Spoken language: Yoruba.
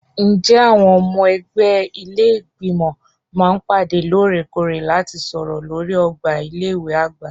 Ǹjẹ́ àwọn ọmọ ẹgbẹ́ ilé Ìgbìmọ̀ máa ń pàdé lóòrèkóòrè láti sọ̀rọ̀ lórí ọgbà ilé ìwé àgbà?